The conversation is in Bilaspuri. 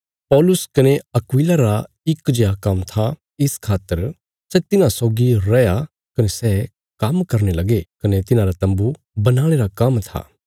पौलुस कने अक्विला रा इक जेआ काम्म था इस खातर सै तिन्हां सौगी रैया कने सै काम्म करने लगे कने तिन्हांरा तम्बू बनाणे रा काम्म था